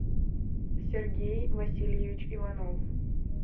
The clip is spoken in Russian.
сергей васильевич иванов